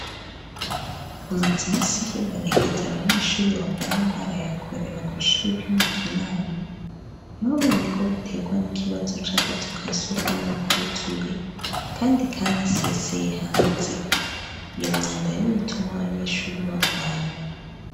Amaza imisi yebonekeza abanyeshuri bagwaye ingwara yakorera kw'ishuri ryuma kinama nti bamenye ko biterwan ikibazo c'akazuka sukumwe kutuye, kandi, kandi aseseye hanze iyo myanda ni yituma abanyeshuri bagwara.